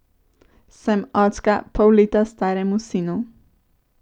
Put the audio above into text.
Sem očka pol leta staremu sinu.